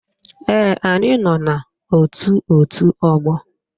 Ee, anyị nọ n'ótù òtú ọgbọ